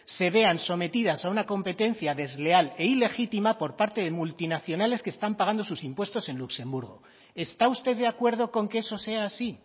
se vean sometidas a una competencia desleal e ilegítima por parte de multinacionales que están pagando sus impuestos en luxemburgo está usted de acuerdo con que eso sea así